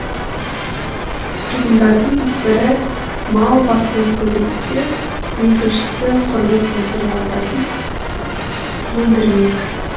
тұрғындардың бірі мал басын көбейтсе екіншісі құрылыс материалдарын өндірмек